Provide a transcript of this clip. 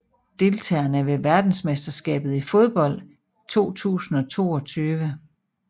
Deltagere ved verdensmesterskabet i fodbold 2022